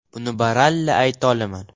Buni baralla ayta olaman.